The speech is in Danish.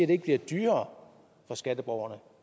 det ikke bliver dyrere for skatteborgerne